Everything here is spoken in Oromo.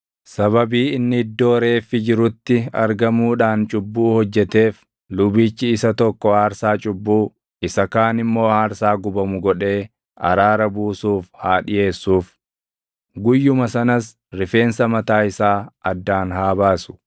Sababii inni iddoo reeffi jirutti argamuudhaan cubbuu hojjeteef lubichi isa tokko aarsaa cubbuu, isa kaan immoo aarsaa gubamu godhee araara buusuuf haa dhiʼeessuuf. Guyyuma sanas rifeensa mataa isaa addaan haa baasu.